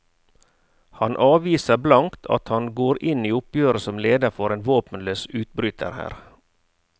Han avviser blankt at han går inn i oppgjøret som leder for en våpenløs utbryterhær.